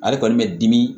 Ale kɔni bɛ dimi